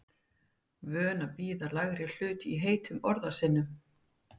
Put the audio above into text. Vön að bíða lægri hlut í heitum orðasennum.